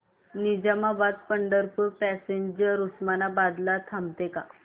Nizamabad Pandharpur passenger Osmanabad ला थांबते का